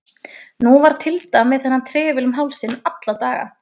Nú var Tilda með þennan trefil um hálsinn alla daga.